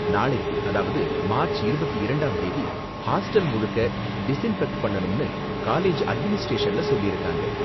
நாளைக்கு, அதாவது மார்ச் இருபத்தி இரண்டாம் தேதி ஹாஸ்டல் முழுக்க டிஸின்ஃபெக்ட் பண்ணனும்னு காலேஜ் அட்மினிஸ்ட்ரேஷன்ல சொல்லிருக்காங்க.